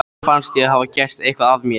Mér fannst ég hafa gert eitthvað af mér.